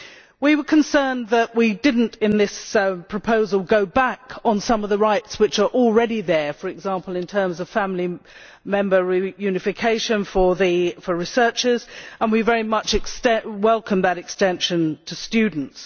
We were concerned that we did not, in this proposal, go back over some of the rights which are already there, for example in terms of family reunification for researchers, and we very much welcome the extension of this to students.